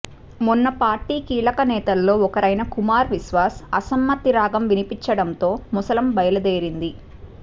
మొన్న పార్టీ కీలకనేతల్లో ఒకరైన కుమార్ విశ్వాస్ అసమ్మతి రాగం వినిపించడంతో ముసలం బయలుదేరింది